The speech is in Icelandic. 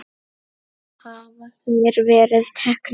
Hafa þeir verið teknir?